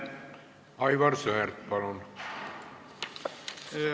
Aivar Sõerd, palun!